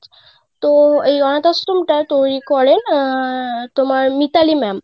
তো এই অনাথ আশ্রম টা তৈরি করেন আহ তোমার মিতালি ma'am.